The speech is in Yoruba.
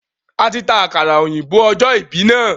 A tí ta àkàrà òyìnbó ọjọ ìbí na.